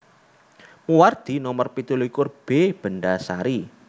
Muwardi Nomer pitulikur B Bendhasari